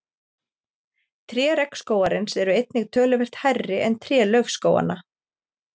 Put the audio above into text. Tré regnskógarins eru einnig töluvert hærri en tré laufskóganna.